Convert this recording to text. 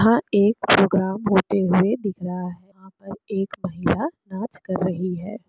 यहाँ एक प्रोग्राम होते हुए दिख रहा है यहाँ पे एक महिला डास कर रही है।